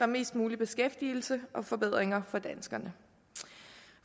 mest mulig beskæftigelse og forbedringer for danskerne